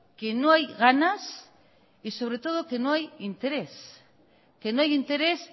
que no hay ganas y sobre todo que no hay interés que no hay interés